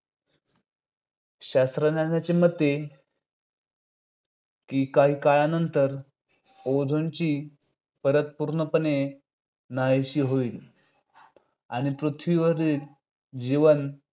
शास्त्रज्ञांच्या मते की काही काळानंतर ozone ची परत पूर्णपणे नाहीशी होईल. आणि पृथ्वीवरील जीवन